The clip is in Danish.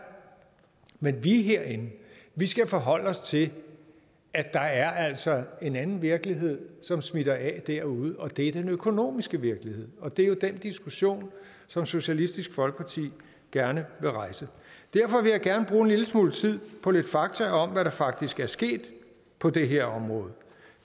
men vi herinde skal forholde os til at der altså er en anden virkelighed som smitter af derude og det er den økonomiske virkelighed og det er jo den diskussion som socialistisk folkeparti gerne vil rejse derfor vil jeg gerne bruge en lille smule tid på lidt fakta om hvad der faktisk er sket på det her område